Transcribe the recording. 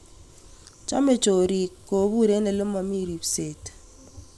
Chome choriik kopuur en olemomii ripseet